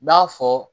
N b'a fɔ